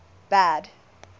bad